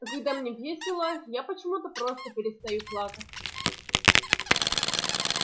а когда мне весело я почему-то просто перестаю плакать